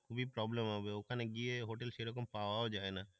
খুবই problem হবে ওখানে গিয়ে হোটেল সেরকম পাওয়াও যায় না।